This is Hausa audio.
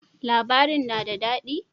Labarin na da dadi?